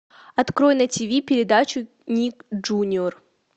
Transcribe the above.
открой на тиви передачу ник джуниор